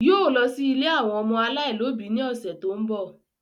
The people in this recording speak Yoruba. Yóò lọ sí ilé àwọn ọmọ aláìlóbi ní ọ̀sẹ̀ tó ń bọ̀